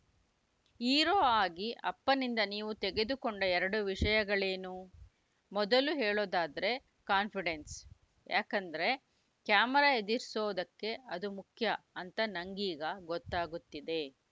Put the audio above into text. hero ಆಗಿ ಅಪ್ಪನಿಂದ ನೀವು ತೆಗೆದುಕೊಂಡ ಎರಡು ವಿಷಯಗಳೇನು ಮೊದಲು ಹೇಳೋದಾದ್ರೆ ಕಾನ್ಪಿಡೆನ್ಸ್‌ ಯಾಕಂದ್ರೆ ಕ್ಯಾಮೆರಾ ಎದುರಿಸೋದಕ್ಕೆ ಅದು ಮುಖ್ಯ ಅಂತ ನಂಗೀಗ ಗೊತ್ತಾಗುತ್ತಿದೆ